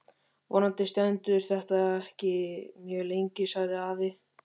Vonandi stendur þetta ekki mjög lengi sagði afi.